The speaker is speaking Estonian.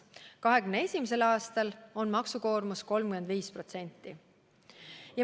2021. aastal on maksukoormus 35%.